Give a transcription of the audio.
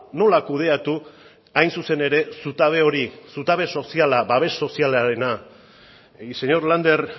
nola kudeatu hain zuzen ere zutabe hori zutabe soziala babes sozialarena y señor lander